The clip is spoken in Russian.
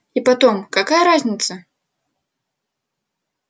и потом какая разница